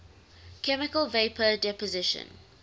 chemical vapor deposition